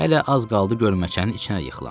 Hələ az qaldı gölməçənin içinə yıxılam.